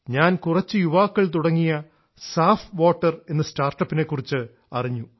ഞാൻ കുറച്ച് യുവാക്കൾ തുടങ്ങിയ സാഫ് വാട്ടർ എന്ന സ്റ്റാർട്ടപ്പ് നെ കുറിച്ചറിഞ്ഞു